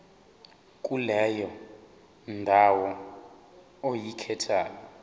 kuleyo ndawo oyikhethayo